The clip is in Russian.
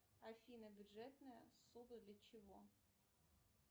афина бюджетная ссуда для чего